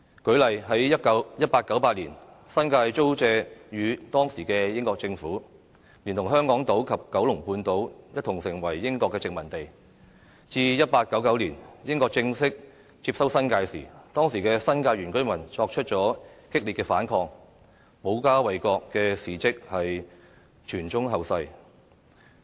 舉例而言，在1898年，新界租借予當時的英國政府，連同香港島及九龍半島一同成為英國殖民地，至1899年英國正式接收新界時，當時的新界原居民作出激烈反抗，保家衞國的事蹟傳誦後世。